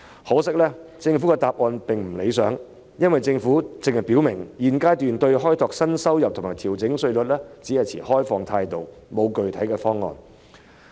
可惜，政府的答覆未如理想，只表明現階段對開拓新的收入來源及調整稅率持開放態度，但卻沒有具體方案。